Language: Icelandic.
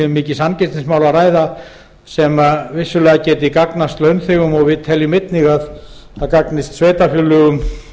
mikið samkeppnismál að ræða sem vissulega geti gagnast launþegum við teljum einnig að það gagnist sveitarfélögum